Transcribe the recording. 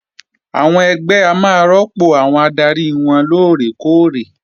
Àwọn ẹgbẹ́ máa rọ́pò àwọn adarí wọn lóòrè kóòrè